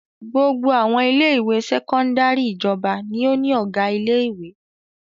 Gbogbo àwọn ilé-ìwé sẹ́kọ́ndárì ìjọba ni ó ní ọ̀gá ilé-ìwé.